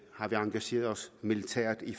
engageret os militært i